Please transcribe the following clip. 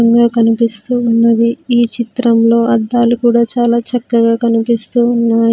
--గా కనిపిస్తూ ఉన్నది ఈ చిత్రంలో అద్దాలు కూడా చాలా చక్కగా కనిపిస్తూ ఉన్నా--